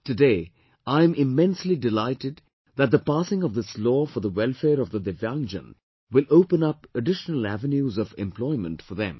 Today I am immensely delighted that the passing of this Law for the welfare of the Divyaangjan will open up additional avenues of employment for them